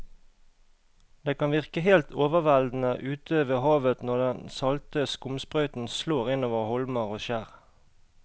Det kan virke helt overveldende ute ved havet når den salte skumsprøyten slår innover holmer og skjær.